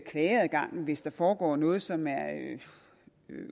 klageadgangen hvis der foregår noget som er